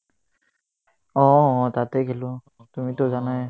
অ, তাতে খেলো তুমিটো জানাই